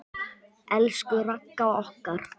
Elsku Ragga okkar.